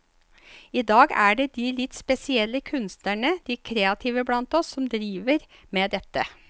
I dag er det de litt spesielle, kunstnerne, de kreative blant oss, som driver med dette.